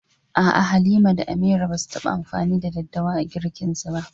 A’a, Halima da Amira ba su taɓa amfani da daddawa a girkinsu ba.